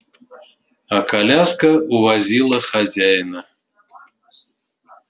а коляска увозила хозяина